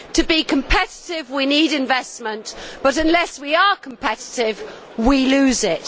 To be competitive we need investment, but unless we are competitive we lose it.